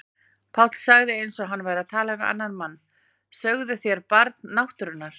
Páll sagði eins og hann væri að tala við annan mann: Sögðuð þér Barn náttúrunnar?